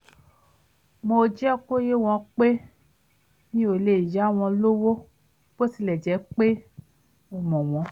mo jẹ́ kó yé wọn pé mi ò lè yá wọn lówó bó tilẹ̀ jẹ́ pé mo mọ̀ wọ́n